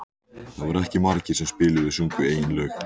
Það voru ekki margir sem spiluðu og sungu eigin lög.